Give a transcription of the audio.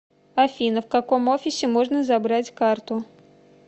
афина в каком офисе можно забрать карту